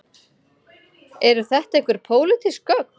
Eru þetta einhver pólitísk gögn